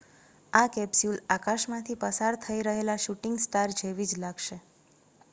આ કેપ્સ્યુલ આકાશમાં થી પસાર થઈ રહેલા શૂટિંગ સ્ટાર જેવી જ લાગશે